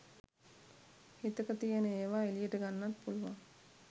හිතක තියෙන ඒව එලියට ගන්නත් පුලුවන්